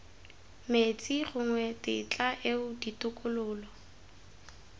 metsi gongwe tetla eo ditokololo